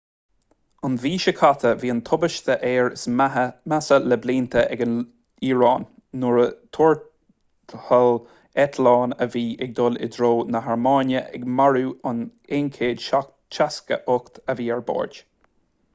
an mhí seo caite bhí an tubaiste aeir is measa le blianta ag an iaráin nuair a thuairteáil eitleán a bhí ag dul i dtreo na hairméine ag marú an 168 a bhí ar bord